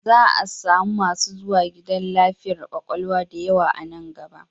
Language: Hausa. Za samu masu zuwa gidan lafiyar kwakwalwa da yawa a nan gaba